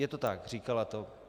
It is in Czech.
Je to tak, říkala to.